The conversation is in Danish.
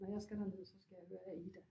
Når jeg skal derned så skal jeg høre Aida